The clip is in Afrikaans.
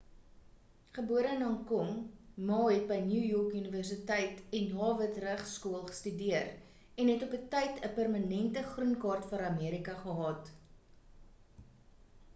gebore in hong kong ma het by new york universiteit en harvard regsskool studeer en het op 'n tyd 'n permanente groenkaart vir amerika gehad